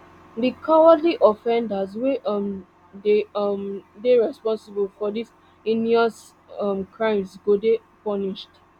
di cowardly offenders wey um dey um dey responsible for dis heinous um crimes go dey punished